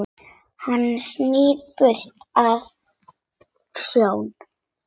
Hann snýr burst að sjó.